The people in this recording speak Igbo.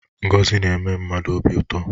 Ngozi na-eme mmadụ obi ụtọ.